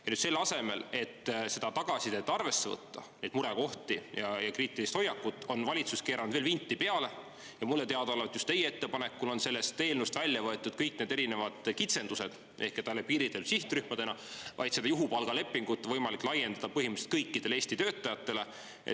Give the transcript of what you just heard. Ja nüüd selle asemel, et seda tagasisidet arvesse võtta, neid murekohti ja kriitilist hoiakut, on valitsus keeranud veel vinti peale ja mulle teadaolevalt just teie ettepanekul on sellest eelnõust välja võetud kõik need erinevad kitsendused, et ainult piiritletud sihtrühmadele, vaid seda juhupalgalepingut on võimalik laiendada põhimõtteliselt kõikidele Eesti töötajatele.